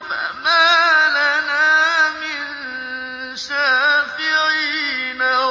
فَمَا لَنَا مِن شَافِعِينَ